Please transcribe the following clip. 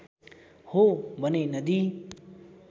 हो भने नदी